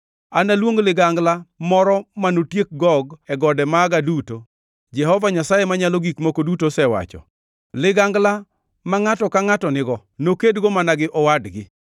Analuong ligangla moro manotiek Gog e gode maga duto, Jehova Nyasaye Manyalo Gik Moko Duto osewacho. Ligangla ma ngʼato ka ngʼato nigo nokedgo mana gi owadgi.